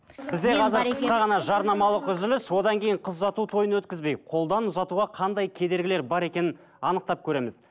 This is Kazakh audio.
қысқа ғана жарнамалық үзіліс одан кейін қыз ұзату тойын өткізбей қолдан ұзатуға қандай кедергілер бар екенін анықтап көреміз